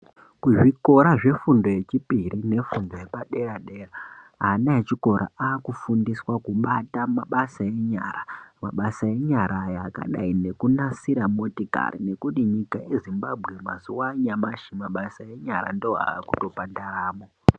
Kuzvikora zvefundo yepadera dera ana echikora akufundiswa kubata mabasa enyara Mabasa enyara aya akadai nekunasira motikari nekuti nyika yezimbabwe mazuwa anyamushi mabasa enyara ndiwo akutobhadharamo.